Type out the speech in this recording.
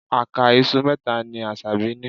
Àká iṣu mẹ́ta ni Asabi ní.